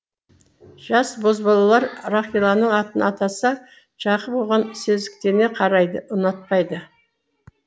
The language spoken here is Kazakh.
жас бозбалалар рақиланың атын атаса жақып оған сезіктене қарайды ұнатпайды